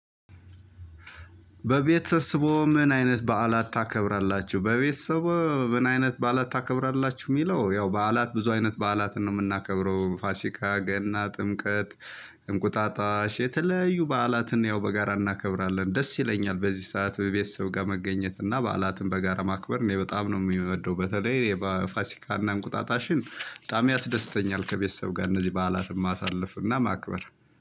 በቤተሰቦ ምን አይነት በዓላት ታከብራላችሁ በቤተሰቦ ምን አይነት በዓላት ታከብራላችሁ? የሚለው ያው በዓላት ብዙ አይነት በዓላትን ነው የምናከብረው ፋሲካ ገና ጥምቀት እንቁጣጣሽ የተለያዩ በዓላትን ያው በጋራ እናከብራለን። ደስ ይለኛል በዚህ ሰዓት ቤተሰብ ጋ መገኘት እና በዓላትን በጋራ ማክበር እኔ በጣም ነው የምወደው። በተለይ የፋሲካና እንቁጣጣሽን በጣም ያስደስተኛል። ከቤተሰብ ጋር እነዚህ በዓላትን ማሳለፍ እና ማክበር